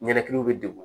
Ɲɛnɛkiliw bɛ degun